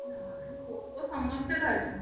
ନାଇଁ Poco ସମସ୍ତେ ଧରିଛନ୍ତି।